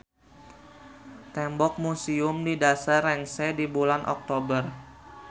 Tembok museum di dasar rengse di bulan Oktober.